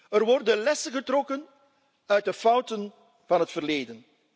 Er worden lessen getrokken uit de fouten van het verleden.